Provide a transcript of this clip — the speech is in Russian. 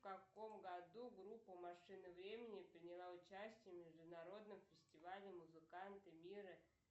в каком году группа машина времени приняла участие в международном фестивале музыканты мира